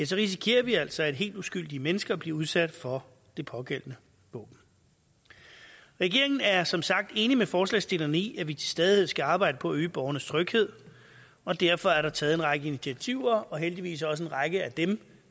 så risikerer vi altså at helt uskyldige mennesker bliver udsat for det pågældende våben regeringen er som sagt enig med forslagsstillerne i at vi til stadighed skal arbejde på at øge borgernes tryghed og derfor er der taget en række initiativer og heldigvis også en række af dem